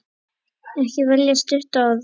Ekki velja stutt orð.